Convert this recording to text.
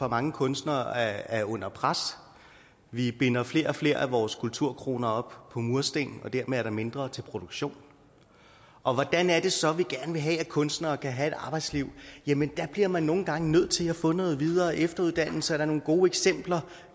mange kunstnere er under pres vi binder flere og flere af vores kulturkroner op på mursten og dermed er der mindre til produktion og hvordan er det så vi gerne vil have at kunstnere kan have et arbejdsliv jamen der bliver man nogle gange nødt til at få noget videre og efteruddannelse og nogle gode eksempler